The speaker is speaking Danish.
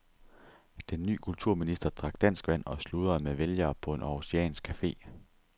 Den ny kulturminister drak danskvand og sludrede med vælgere på en århusiansk café.